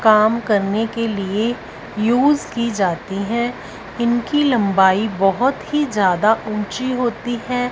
काम करने के लिए युज की जाती हैं इनकी लंबाई बहोत ही ज्यादा ऊंची होती हैं।